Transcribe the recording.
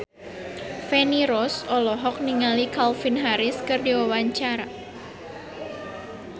Feni Rose olohok ningali Calvin Harris keur diwawancara